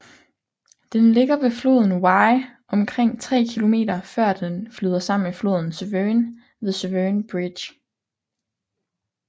Den ligger ved floden Wye omkring 3 km før dne flyder sammen med floden Severn ved Severn Bridge